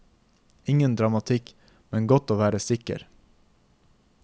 Ingen dramatikk, men godt å være sikker.